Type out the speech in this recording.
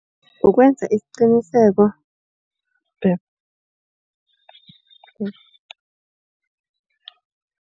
Ukwenza isiqiniseko babe